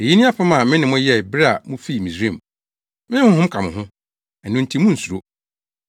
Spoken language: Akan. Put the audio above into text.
‘Eyi ne apam a me ne mo yɛe bere a mufii Misraim. Me Honhom ka mo ho. Ɛno nti munnsuro.’